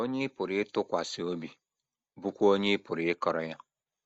onye ị pụrụ ịtụkwasị obi, bụ́kwa onye ị pụrụ ịkọrọ ya.